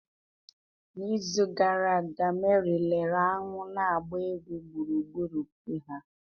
n'izu gara aga Meri lere aṅụ na-agba egwu gburugburu foo ha